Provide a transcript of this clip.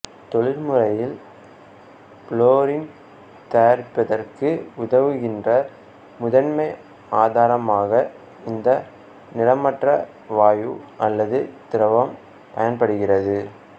தொழில்முறையில் fluorine தயாரிப்பதற்கு உதவுகின்ற முதன்மை ஆதாரமாக இந்த நிறமற்ற வாயு அல்லது திரவம் பயன்படுகிறது